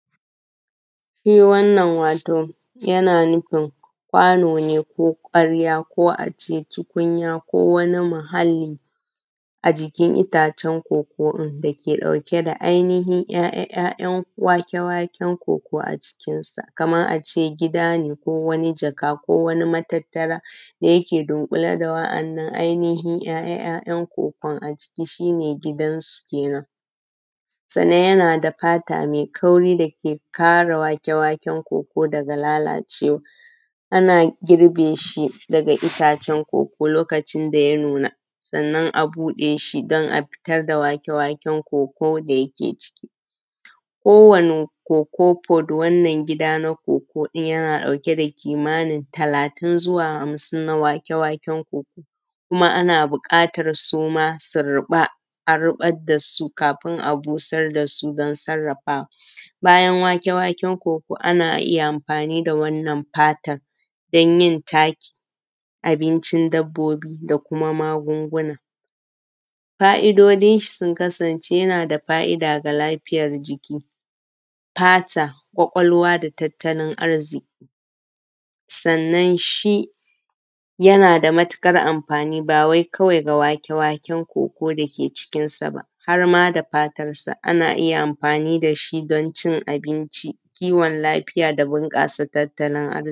Shi wannan wato yana nufin kwano ne ko ƙwarya, ko ace tukunya ko wani mahalli a jikin itacen koko ɗin da ɗauke da ‘ya’yan waken-wake koko a cikinsa, kaman ace gida ne ko wani jaka ko wani matattara da yake ɗunkule da wa’annan ‘ya’yan kokon a jiki shi ne gidansu kenen. Sannan yana da fata mai kauri dake ƙare wake-waken kokon daga lalacewa. ana girbe shi daga itace koko lokacin daya nuna, sannan a buɗe shi don a fitar da wake-waken koko da yake ciki. Kowani koko pot wannan gida na koko din yana ɗauke da kimanin talatin zuwa hamsin na wake-waken koko, kuma ana buƙatar suma su riba a ribar dasu kafin a busar dasu don sarrafawa. Bayan wake-waken koko ana iya amfani da wannan fatan dan yin taki, abincin dabbobi da kuma magunguna. Fa’idodin shi sun kasance yana da fa’ida ga lafiyar jiki, fata, kwakwalwa, da tattalin arziki. Sannan shi yana da matuƙar amfanin ba wai kawai ga wake-waken koko dake cikinsa ba har ma da fatarsa ana iya amfani dashi don ci abinci, kiwon lafiya da bunƙasa tattalin arziki.